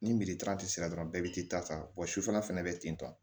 Ni sera dɔrɔn bɛɛ bi t'i ta ta sufɛ fɛnɛ be ten tɔ